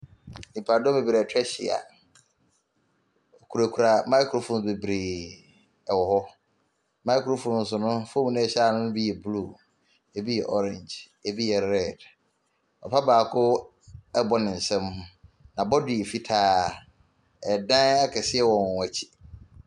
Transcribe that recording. Nnipa dɔm bebree atwa ahyia, ɔkura kura maekrofon bebree ɛwɔ hɔ. Maekrofons no fon no a ɛhyɛ anoo no bi yɛ bluu, ebi yɛ ɔrengye, ebi rɛd. Papa baako ɛɛbɔ ne nsam, n'abɔgwe yɛ fitaa ɛdan akɛseɛ wɔ wɔn akyi.